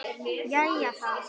Jæja þá.